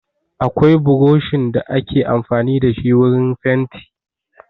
Akwai buroshin da ake amfani da shi wurin fanti.